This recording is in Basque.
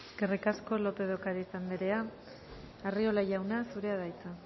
eskerrik asko lópez de ocariz anderea arriola jauna zurea da hitza